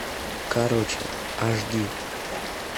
короче аш ди